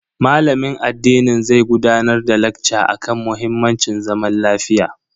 Malamin addinin zai gudanar da lacca akan muhimmancin zaman lafiya.